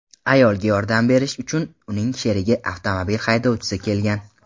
Ayolga yordam berish uchun uning sherigi avtomobil haydovchisi kelgan.